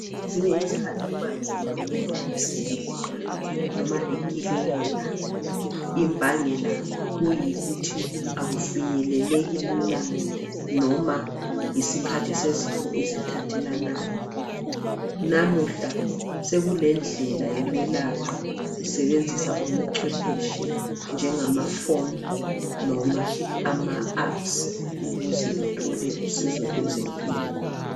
Kwezinye izikhathi kuba nzima ukuya esibhedlela noma ekilinika imbangela kuyikuthi akufinyeleleki lula noma yisikhathi sezifo ezithathelanayo. Namuhla seku lendlela yokwelapha usebenzisa ubucwephetshi njengama phone noma ama apps ukuze uthole usizo lwezempilo.